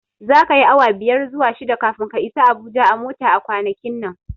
Zaka yi awa biyar zuwa shida kafin ka isa Abuja a mota a kwanakin nan.